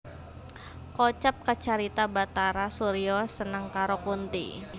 Kocap kacarita Bhatara Surya seneng karo Kunthi